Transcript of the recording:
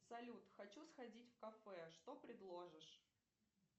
салют хочу сходить в кафе что предложишь